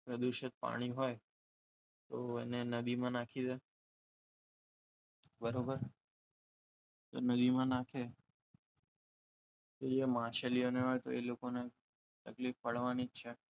પ્રદૂષણ પાણી હોય તો એને નદીમાં નાખી દો બરાબર તમે નદીમાં નાખો તો એ માછલીના એમના તકલીફ પડવાની જ છે